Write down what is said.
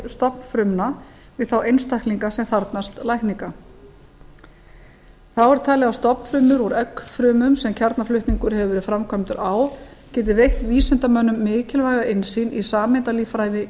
stofnfrumna við þá einstaklinga sem þarfnast lækninga þá er talið að stofnfrumur úr eggfrumum sem kjarnaflutningur hefur verið framkvæmdur á geti veitt vísindamönnum mikilvæga innsýn í sameindalíffræði